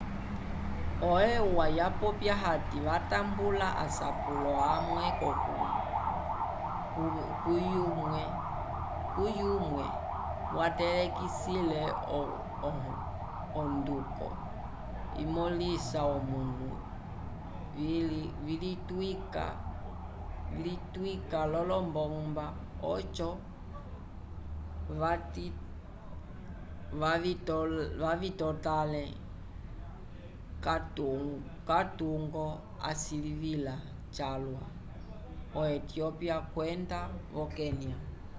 eua vapopya hati vatambula asapulo amwe kuyumwe kavalekisile onduko imõlisa omanu vlitwika l'olombomba oco vavitotãle katungo asilivila calwa vo-etiyopya kwenda vo-kenya